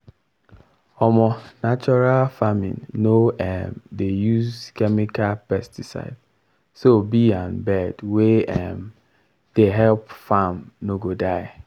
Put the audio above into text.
um natural farming no um dey use chemical pesticide so bee and bird wey um dey help farm no go die.